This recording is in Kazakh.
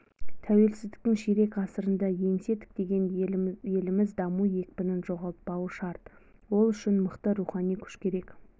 тәуелсіздіктің ширек ғасырында еңсе тіктеген еліміз даму екпінін жоғалтпауы шарт ол үшін мықты рухани күш керек